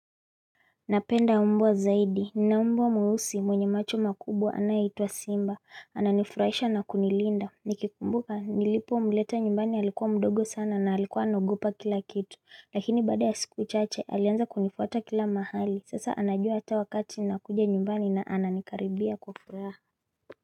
Napenda mbwa zaidi, nina mbwa mweusi mwenye macho makubwa anayeitwa Simba, ananifurahisha na kunilinda, nikikumbuka nilipomleta nyumbani halikuwa mdogo sana na halikuwa anaogopa kila kitu, lakini baada ya siku chache alianza kunifuata kila mahali, sasa anajua ata wakati nakuja nyumbani na ananikaribia kwa furaha.